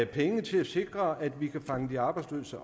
penge til at sikre at man kan fange de arbejdsløse